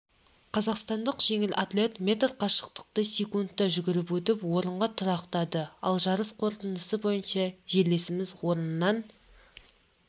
қазақстандық жеңіл атлет метр қашықтықты секундта жүгіріп өтіп орынға тұрақтады ал жарыс қорытындысы бойынша жерлесеміз орыннан